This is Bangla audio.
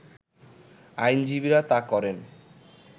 আইনজীবীরা তা করেন